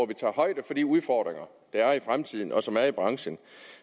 vi tager højde for de udfordringer der er i fremtiden og som er i branchen